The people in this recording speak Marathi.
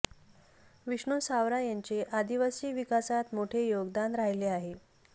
विष्णू सावरा यांचे आदिवासी विकासात मोठे योगदान राहिले आहे